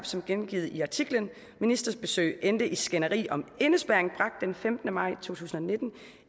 som gengivet i artiklen ministerbesøg endte i skænderi om indespærring bragt den femtende maj to tusind og nitten